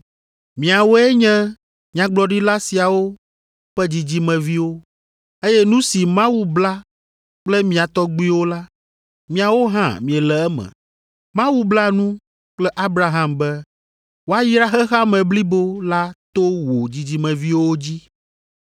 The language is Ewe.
Miawoe nye nyagblɔɖila siawo ƒe dzidzimeviwo, eye nu si Mawu bla kple mia tɔgbuiwo la, miawo hã miele eme. Mawu bla nu kple Abraham be, ‘Woayra xexea me blibo la to wò dzidzimeviwo dzi.’